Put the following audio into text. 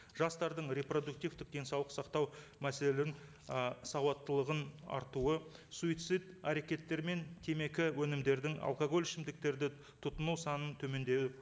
жастардың репродуктивтік денсаулық сақтау мәселелерін ы сауатталығының артуы суицид әрекеттері мен темекі өнімдердің алкоголь ішімдіктерді тұтыну санын төмендеуі